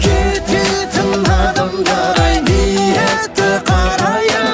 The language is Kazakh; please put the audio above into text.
кететін адамдар ай ниеті қарайып